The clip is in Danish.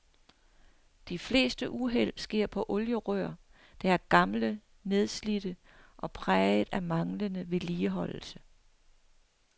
De fleste uheld sker på olierør, der er gamle, nedslidte og præget af manglende vedligeholdelse.